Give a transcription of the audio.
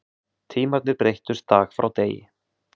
Tímarnir breyttust dag frá degi.